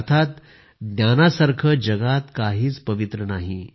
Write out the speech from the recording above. अर्थात ज्ञानासारखं जगात काहीच पवित्र नाही